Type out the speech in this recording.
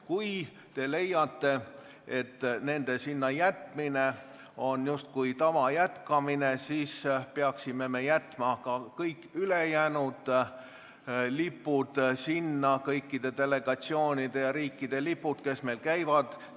Kui te leiate, et nende sinna jätmine on justkui tava jätkamine, siis peaksime sinna jätma ka kõik ülejäänud lipud – kõikide nende riikide lipud, kelle delegatsioonid on meil käinud.